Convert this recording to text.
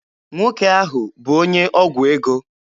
Nwoke ahụ bụ onye ọgwụ ego.